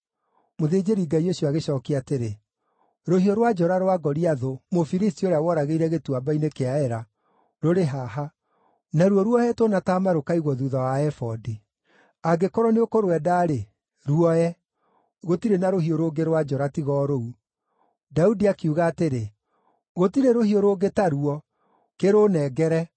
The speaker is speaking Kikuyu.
Mũthĩnjĩri-Ngai ũcio agĩcookia atĩrĩ, “Rũhiũ rwa njora rwa Goliathũ, Mũfilisti ũrĩa woragĩire Gĩtuamba-inĩ kĩa Ela, rũrĩ haha; naruo ruohetwo na taama rũkaigwo thuutha wa ebodi. Angĩkorwo nĩũkũrwenda-rĩ, ruoe; gũtirĩ na rũhiũ rũngĩ rwa njora tiga o rũu.” Daudi akiuga atĩrĩ, “Gũtirĩ rũhiũ rũngĩ taruo; kĩrũũnengere.”